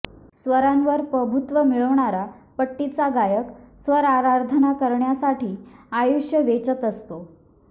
स्वरांवर प्रभुत्व मिळवणारा पट्टीचा गायक स्वरआराधना करण्यासाठी आयुष्य वेचत असतो